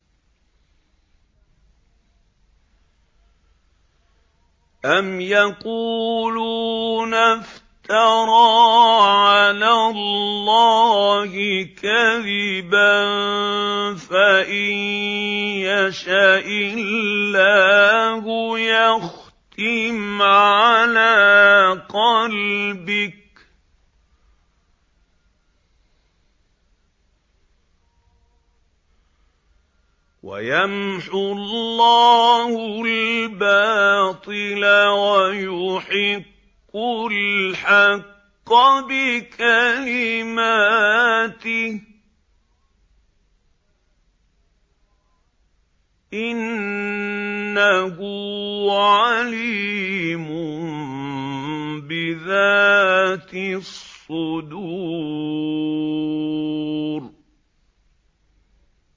أَمْ يَقُولُونَ افْتَرَىٰ عَلَى اللَّهِ كَذِبًا ۖ فَإِن يَشَإِ اللَّهُ يَخْتِمْ عَلَىٰ قَلْبِكَ ۗ وَيَمْحُ اللَّهُ الْبَاطِلَ وَيُحِقُّ الْحَقَّ بِكَلِمَاتِهِ ۚ إِنَّهُ عَلِيمٌ بِذَاتِ الصُّدُورِ